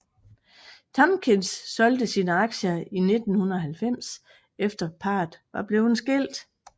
Tompkins solgte sine aktier i 1990 efter parret var blevet skilt